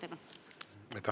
Aitäh!